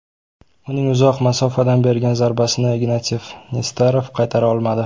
Uning uzoq masofadan bergan zarbasini Ignatiy Nesterov qaytara olmadi.